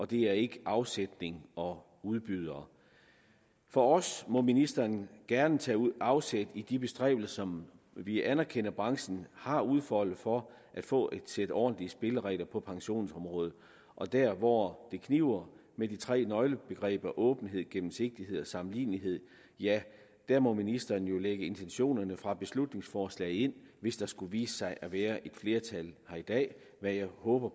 det er ikke afsætning og udbydere for os må ministeren gerne tage afsæt i de bestræbelser som vi anerkender at branchen har udfoldet for at få et sæt ordentlige spilleregler på pensionsområdet og der hvor det kniber med de tre nøglebegreber åbenhed gennemsigtighed og sammenlignelighed ja der må ministeren jo lægge intentionerne fra beslutningsforslaget ind hvis der skulle vise sig at være et flertal her i dag hvad jeg håber